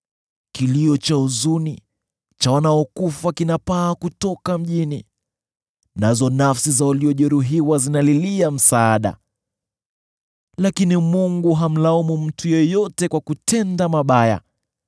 Kilio cha huzuni cha wanaokufa kinapaa kutoka mjini, nazo nafsi za waliojeruhiwa zinalilia msaada. Lakini Mungu hamlaumu mtu yeyote kwa kutenda mabaya.